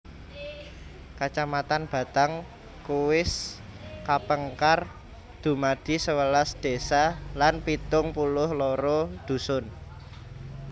Kacamatan Batang Kuis kapengkar dumadi sewelas Désa lan pitung puluh loro Dusun